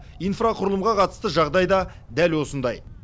инфрақұрылымға қатысты жағдай да дәл осындай